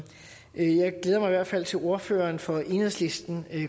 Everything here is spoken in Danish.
jeg glæder mig i hvert fald til at ordføreren for enhedslisten